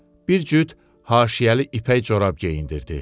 Bir cüt haşiyəli ipək corab geyindirdi.